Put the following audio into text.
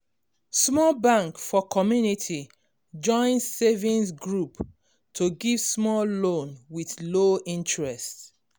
small bank for community join savings group to give small loan with low interest